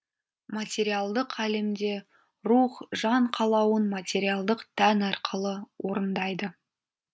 материалдық әлемде рух жан қалауын материалдық тән арқылы орындайды